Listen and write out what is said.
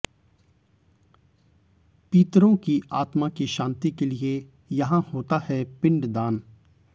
पितरों की आत्मा की शांति के लिए यहां होता है पिंड दान